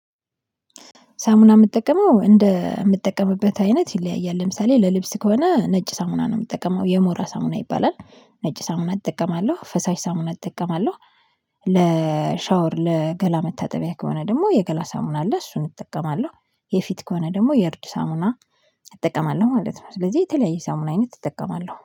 ሳሙና የምትጠቀመው እንደ የምትጠቀምበት አይነት ይለያያል ለምሳሌ ለልብስ ከሆነ ነጭ ሳሙና ነው የምትጠቀመው የሞራ ሳሙና ይባላል። ነጭ ሳሙና እጠቀማለሁ ፈሳሽ ሳሙና እጠቀማለሁ። ለሻወር ለገላ መታጠቢያ ከሆነ ደግሞ የገላ ሳሙና አለ እሱን እጠቀማለሁ። የፊት ከሆነ ደግሞ የእርድ ሳሙና እጠቀማለሁ ማለት ነው። ስለዚህ የተለያየ ሳሙና አይነት እጠቀማለሁ